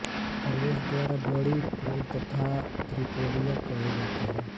प्रवेश द्वार बड़ी पोल तथा त्रिपोलिया कहे जाते हैं